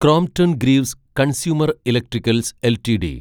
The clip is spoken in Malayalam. Crompton Greaves Consumer Electricals LTD